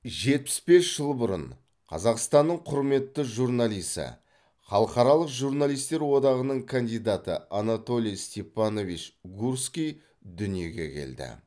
жетпіс бес жыл бұрын қазақстанның құрметті журналисі халықаралық журналистер одағының кандидаты анатолий степанович гурский дүниеге келді